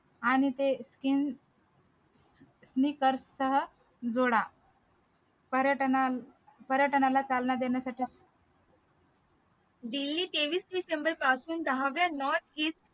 आणि ते skin knickers सह जोडा पर्यटनाल पर्यटनाला चालना देण्यासाठी daily तेवीस ते शंभर पासून दहाव्या north east